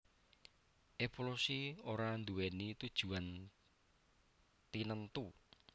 Évolusi ora nduwèni tujuan tinentu